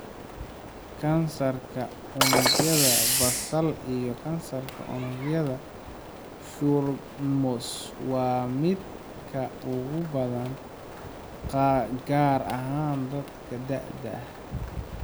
Kansarka unugyada basal iyo kansarka unugyada squamous waa mid aad ugu badan, gaar ahaan dadka da'da ah.